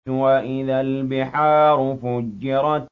وَإِذَا الْبِحَارُ فُجِّرَتْ